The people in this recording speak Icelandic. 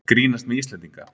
Grínast með Íslendinga